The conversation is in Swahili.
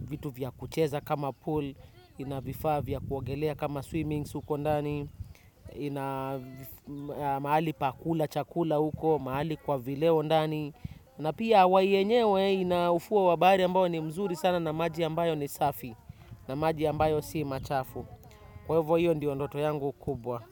vitu vya kucheza kama pool, ina vifaa vya kuogelea kama swimmings huko ndani, ina mahali pa kula chakula huko, mahali kwa vileo ndani na pia hawai yenyewe ina ufuo wa wabari ambayo ni mzuri sana na maji ambayo ni safi na maji ambayo si machafu kwa hivo hiyo ndio ndoto yangu kubwa.